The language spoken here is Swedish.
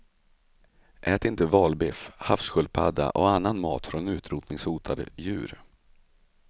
Ät inte valbiff, havssköldspadda och annan mat från utrotningshotade djur.